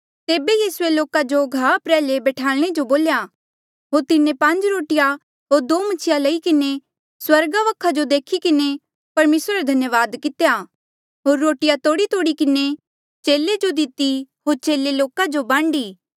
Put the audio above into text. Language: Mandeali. तेबे यीसूए लोका जो घाहा प्रयाल्हे बठयाल्णे जो बोल्या होर तिन्हें पांज रोटिया होर दो मछिया लई किन्हें स्वर्गा वखा जो देखी किन्हें परमेसरा रा धन्यावाद कितेया होर रोटिया तोड़ीतोड़ी किन्हें चेले जो दिती होर चेले लोका जो बांडी